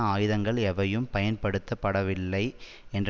ஆயுதங்கள் எவையும் பயன்படுத்தப்படவில்லை என்ற